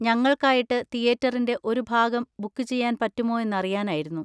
ഞങ്ങൾക്കായിട്ട് തിയേറ്ററിൻ്റെ ഒരു ഭാഗം ബുക്ക് ചെയ്യാൻ പറ്റുമോ എന്നറിയാനായിരുന്നു.